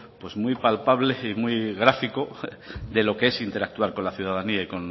muy palpable y muy gráfico de lo que es interactuar con la ciudadanía y